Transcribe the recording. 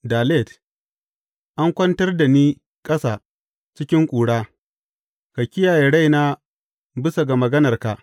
Dalet An kwantar da ni ƙasa cikin ƙura; ka kiyaye raina bisa ga maganarka.